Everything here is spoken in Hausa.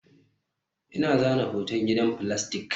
Ina zana hoton gidan filastik